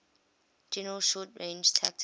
general short range tactical